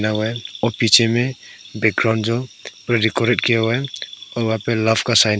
और पीछे मे बिक्रोनजो पुरा डिकोरेट किया हुआ है और वहां पे लव का साइन --